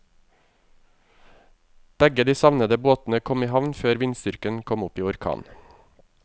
Begge de savnede båtene kom i havn før vindstyrken kom opp i orkan.